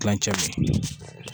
Kilancɛ bɛ